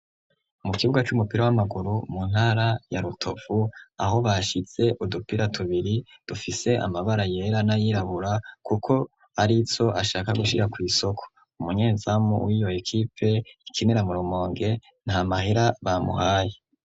Mu kibuga c'umupira w'amaguru mu ntara ya rutovu aho bashize udupira tubiri dufise amabara yera n’ayirabura kuko arizo ashaka gushira kw’isoko ,umunyenzamu w'iyo ekipe ikinira murumonge nta mahera bamuhaye.